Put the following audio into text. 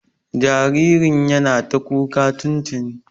Jaririn yana ta ƙuwa tuntuni.